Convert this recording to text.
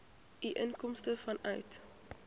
u inkomste vanuit